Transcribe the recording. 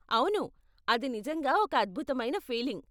అవును, అది నిజంగా ఒక అద్భుతమైన ఫీలింగ్.